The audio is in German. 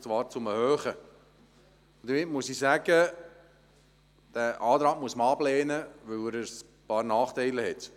Man muss den Antrag ablehnen, weil er ein paar Nachteile aufweist.